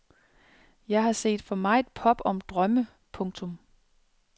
Jeg har set for meget pop om drømme. punktum